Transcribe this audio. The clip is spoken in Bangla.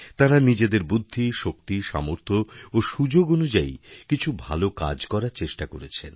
তাঁরা নিজেদেরবুদ্ধি শক্তি সামর্থ্য ও সুযোগ অনুযায়ী কিছু ভাল কাজ করার চেষ্টা করেছেন